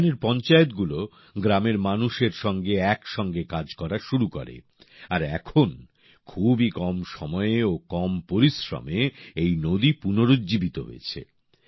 এখানের পঞ্চায়েতগুলো গ্রামের মানুষের সঙ্গে একসঙ্গে কাজ করা শুরু করে আর এখন খুবই কম সময়ে ও কম পরিশ্রমে এই নদী পুনরুজ্জীবিত হয়েছে